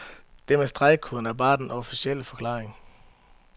Det med stregkoden er bare den officielle forklaring.